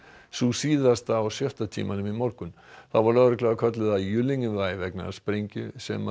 sú síðasta á sjötta tímanum í morgun þá var lögregla kölluð að vegna sprengju sem